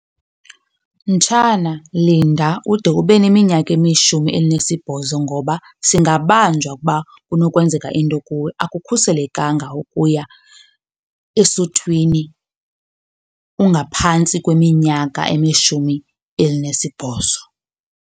Mtshana, linda ude ube neminyaka elishumi elinesibhozo ngoba singabanjwa ukuba kunokwenzeka into kuwe. Akukhuselekanga ukuya esuthwini ungaphantsi kweminyaka elishumi elinesibhozo.